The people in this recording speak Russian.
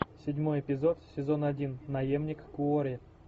седьмой эпизод сезон один наемник куорри